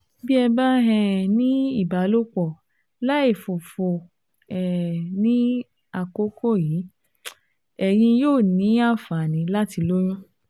Bí ẹ bá um ní ìbálòpọ̀ láìfòfòfò um ní àkókò um yìí, ẹ̀yin yóò ní àǹfààní láti lóyún